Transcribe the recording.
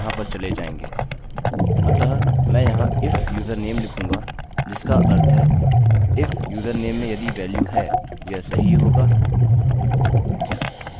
अतः मैं यहाँ if username लिखूँगा जिसका अर्थ है if username में यदि वेल्यू है यह सही होगा और मैं password लिखूँगा